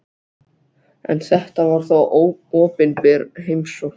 En þetta var þó opinber heimsókn.